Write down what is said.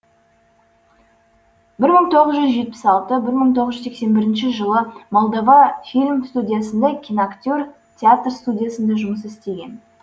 бір мың тоғыз жүз жетпіс алты бір мың тоғыз жүз сексен бірінші молдова фильм студиясында киноактер театр студиясында жұмыс істеген